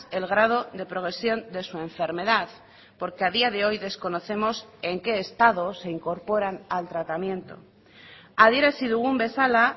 el grado de progresión de su enfermedad porque a día de hoy desconocemos en qué estado se incorporan al tratamiento adierazi dugun bezala